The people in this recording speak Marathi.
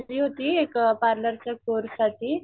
एक पार्लर चा कोर्स साठी,